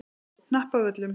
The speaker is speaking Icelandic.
Hnappavöllum